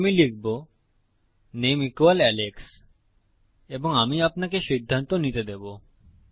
তাই আমি লিখব নামে আলেক্স এবং আমি আপনাকে সিদ্ধান্ত নিতে দেবো